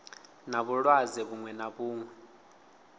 na vhulwadze vhuṅwe na vhuṅwe